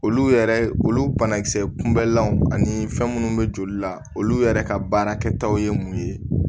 Olu yɛrɛ olu banakisɛ kunbɛlanw ani fɛn munnu be joli la olu yɛrɛ ka baara kɛtaw ye mun ye